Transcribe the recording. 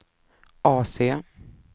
AC